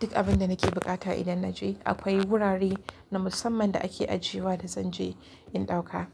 Duk abin da nake buƙata idan na je akwai wurare na musamman da ake ajiya da zan je in ɗauka.